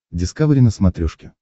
дискавери на смотрешке